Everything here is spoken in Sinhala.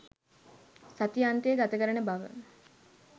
සති අන්තය ගතකරන බව.